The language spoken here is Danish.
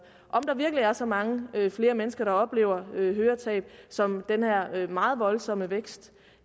om der virkelig er så mange flere mennesker der oplever høretab som den her meget voldsomme vækst